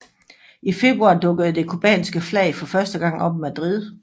I februar dukkede det cubanske flag for første gang op i Madrid